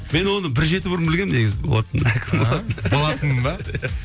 мен оны бір жеті бұрын білгенмін негізі болатынын болатынын ба иә